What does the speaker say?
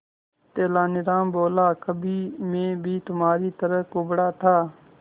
तेनालीराम बोला कभी मैं भी तुम्हारी तरह कुबड़ा था